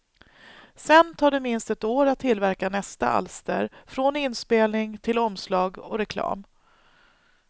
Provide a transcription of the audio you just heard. Sen tar det minst ett år att tillverka nästa alster, från inspelning till omslag och reklam.